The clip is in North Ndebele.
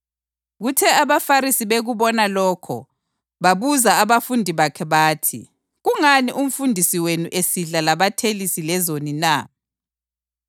Kuthe abaFarisi bekubona lokho babuza abafundi bakhe bathi, “Kungani umfundisi wenu esidla labathelisi lezoni na?”